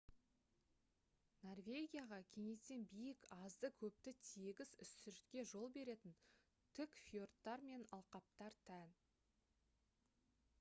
норвегияға кенеттен биік азды-көпті тегіс үстіртке жол беретін тік фьордтар мен алқаптар тән